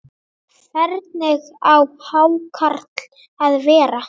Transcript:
Hvernig á hákarl að vera?